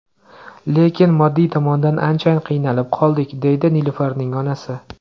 Lekin moddiy tomondan ancha qiynalib qoldik”, deydi Nilufarning onasi.